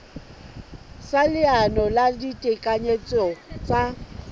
sa leano la ditekanyetso tsa